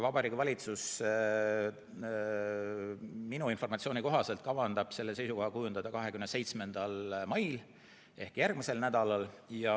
Vabariigi Valitsus kavatseb seisukoha kujundada minu informatsiooni kohaselt 27. mail ehk järgmisel nädalal.